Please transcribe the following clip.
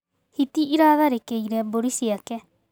Hiti ĩratharĩkĩire mbũri ciake.